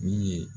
Min ye